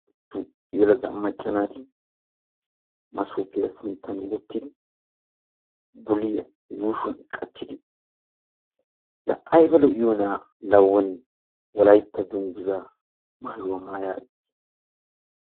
Yelagga macca naati masobbiyaa sinttan wottidi bulliya yuushshuwan qachchidi la aybba lo'iyonna la wonni wolaytta dunguzza maayuwaa maayagetti.